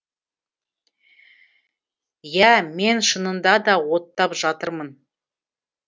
иә мен шынында да оттап жатырмын